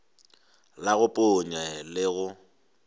la go ponya le go